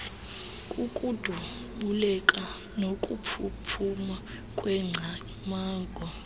kukudubuleka nokuphuphuma kweengcamango